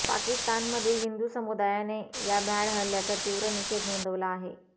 पाकिस्तानमधील हिंदू समुदायाने या भ्याड हल्ल्याचा तीव्र निषेध नोंदवला आहे